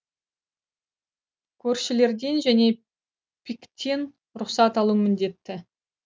көршілерден және пик тен рұқсат алу міндетті